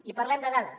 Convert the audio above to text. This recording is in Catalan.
i parlem de dades